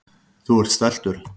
Þú ert stæltur.